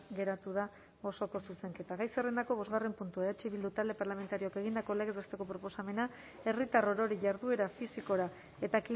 geratu da osoko zuzenketa gai zerrendako bosgarren puntua eh bildu talde parlamentarioak egindako legez besteko proposamena herritar orori jarduera fisikora eta